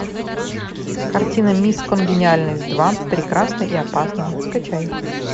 картина мисс конгениальность два прекрасна и опасна скачай